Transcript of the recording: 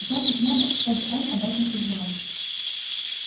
значит надо чтобы он об этом узнал